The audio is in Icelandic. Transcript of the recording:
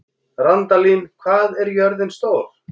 Randalín, hvað er jörðin stór?